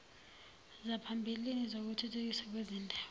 zaphambilini zokuthuthukiswa kwezindawo